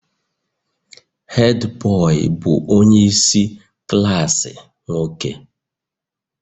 Hed bọị bụ onye isi klaasị nwoke